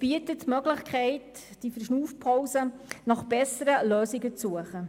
Diese Verschnaufpause bietet die Möglichkeit, nach besseren Lösungen zu suchen.